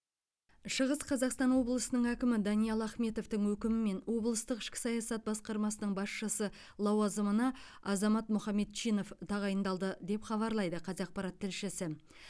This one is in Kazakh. шығыс қазақстан облысының әкімі даниал ахметовтің өкімімен облыстық ішкі саясат басқармасының басшысы лауазымына азамат мұхамедчинов тағайындалды деп хабарлайды қазақпарат тілшісі